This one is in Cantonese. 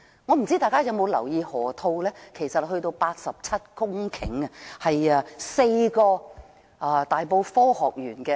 不知道大家有否留意河套有87公頃，大小相等於4個大埔科學園。